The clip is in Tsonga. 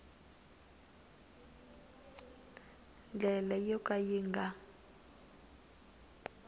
ndlela yo ka yi nga